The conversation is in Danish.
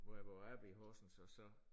Hvor jeg var oppe i Horsens og så